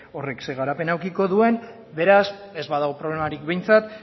horrek zein garapen edukiko duen beraz ez badago problemarik behintzat